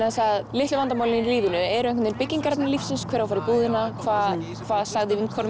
litlu vandamálin í lífinu eru byggingarefni lífsins hver á að fara í búðina hvað sagði vinkona